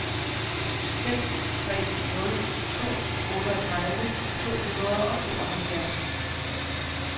seks tre nul to otteogtredive to hundrede og tooghalvfjerds